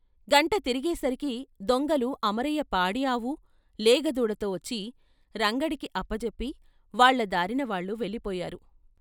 గంట తిరిగే సరికి దొంగలు అమరయ్య పాడి ఆపు, లేగదూడతో వచ్చి రంగడికి అప్పచెప్పి వాళ్ళ దారిన వాళ్లు వెళ్ళిపోయారు.